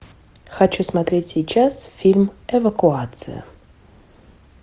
хочу смотреть сейчас фильм эвакуация